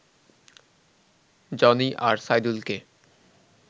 Johnny আর সাইদুলকে